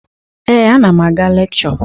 Ee, ana m aga lekchọ.